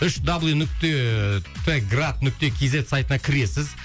үш дабл ю нүкте т град нүкте кз сайтына кіресіз